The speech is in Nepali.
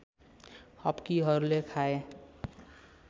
हप्की अरूले खाए